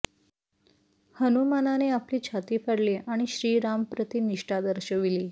हनुमानाने आपली छाती फाडली आणि श्रीरामप्रती निष्ठा दर्शविली